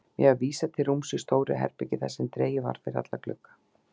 Mér var vísað til rúms í stóru herbergi þar sem dregið var fyrir alla glugga.